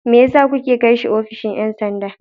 Me yasa kuke kai shi ofishin 'yan sanda?